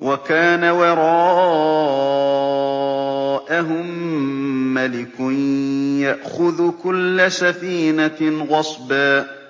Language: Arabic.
وَكَانَ وَرَاءَهُم مَّلِكٌ يَأْخُذُ كُلَّ سَفِينَةٍ غَصْبًا